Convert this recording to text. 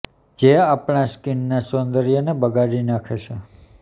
જે આપણાં સ્કિન ના સૌંદર્ય ને બગાડી નાખે છે